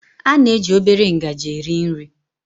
A na-eji obere ngaji eri nri